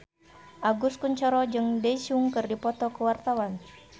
Agus Kuncoro jeung Daesung keur dipoto ku wartawan